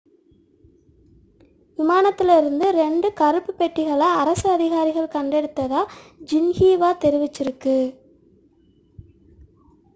விமானத்தில் இருந்து இரண்டு கருப்பு பெட்டிகளை' அரசு அதிகாரிகள் கண்டெடுத்ததாக ஜின்ஹீவா தெரிவித்துள்ளது